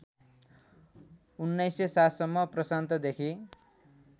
१९०७ सम्म प्रशान्तदेखि